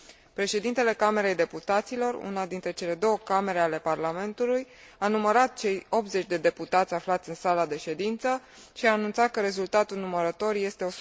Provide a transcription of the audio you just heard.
Președintele Camerei Deputaților, una dintre cele două Camere ale Parlamentului, a numărat cei 80 de deputați aflați în sala de ședință și a anunțat că rezultatul numărătorii este